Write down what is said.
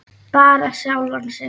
Bara sjálfan sig.